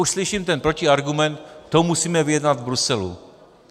Už slyším ten protiargument - to musíme vyjednat v Bruselu.